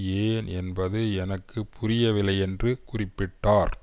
ஏன் என்பது எனக்கு புரியவில்லை என்று குறிப்பிட்டார்